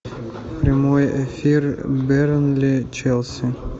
прямой эфир бернли челси